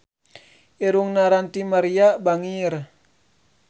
Irungna Ranty Maria bangir